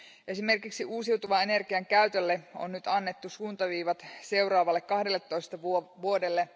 Esimerkiksi uusiutuvan energian käytölle on nyt annettu suuntaviivat seuraavalle kahdelletoista vuodelle.